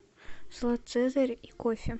салат цезарь и кофе